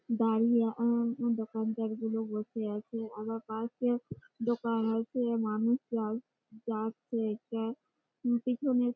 দাঁড়িয়ে আ দোকানদার গুলো বসে আছে আবার পাশে দোকান আছে মানুষ যায় যাচ্ছে একটা পেছনের --